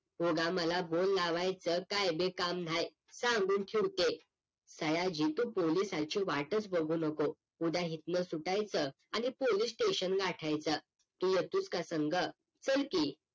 उगा मला बोल लावायचं काहीबी काम नाही सांगून ठेवते सयाजी तू पोलिसाची वाटच बघू नको उद्या इथनं सुटायचं आणि पोलीस STATION गाठायचं तू येतोस का संग चल की